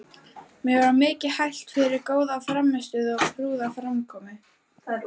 Mér var mikið hælt fyrir góða frammistöðu og prúða framkomu.